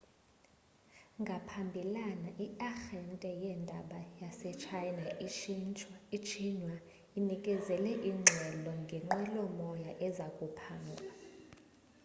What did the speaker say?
ngaphambilana i-arhente yeendaba yasetshayina ixinhua inikezele ingxelo ngenqwelomoya eza kuphangwa